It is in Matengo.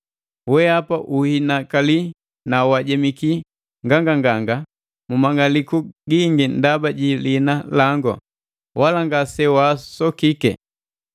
Wehapa uhinakali na wajemiki nganganga mu mang'aliku gingi ndaba ji lihina langu, wala ngase waasokike.